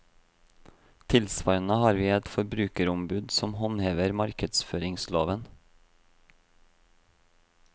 Tilsvarende har vi et forbrukerombud som håndhever markedsføringsloven.